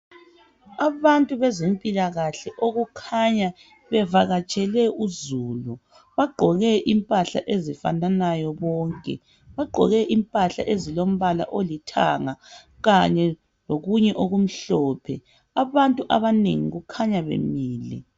Abantu bezempilakahle okukhanya bevakatshele uzulu bagqoke impahla ezifananayo bonke bagqoke impahla ezilombala olithanga khanye lokunye okumhlophe abantu abanengi kukhanya bemile